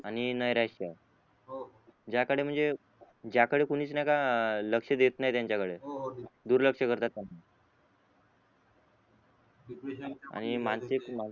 आणि नरेश हो ज्याकडे म्हणजे ज्याकडे कोणीच नाय का लक्ष देत नाय त्याच्याकडे हो हो दिला दुर्लक्ष करतात पण डिप्रेशन आणि मानसिक